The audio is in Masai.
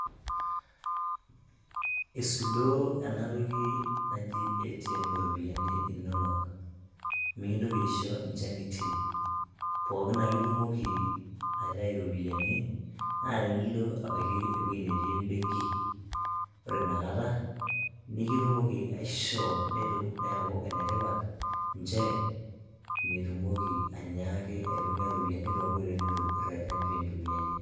Eisudoo enatoki naji CS[ATM]CS iropiani inonok mekindoki aisho inchang'itie pookin ake itumoki aitayu iropiani naa tenilo abaiki ewoji netii em'benki ore inakata nekitumoki aishoo neeku enetipat nchere mitumoki ainyaaki aitumia iropiani too nkoitoi nitu irerren piintumia iyie